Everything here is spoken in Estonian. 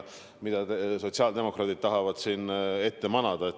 Sotsiaaldemokraadid tahavad siin sellist pilti ette manada.